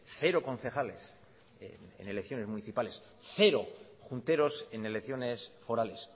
cero concejales en elecciones municipales cero junteros en elecciones forales